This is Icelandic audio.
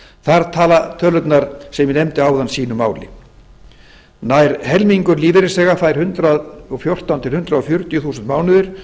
þar tala tölurnar sem ég nefndi áðan sínu máli nær helmingur lífeyris bera fær hundrað og fjórtán til hundrað fjörutíu þúsund